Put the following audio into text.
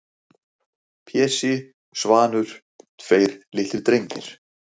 Pési, Svanur, tveir litlir drengir-